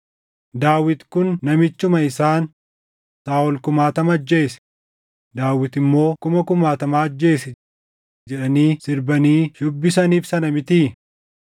Daawit kun namichuma isaan, “ ‘Saaʼol kumaatama ajjeese; Daawit immoo kuma kumaatama ajjeese’ jedhanii sirbanii shubbisaniif sana mitii?”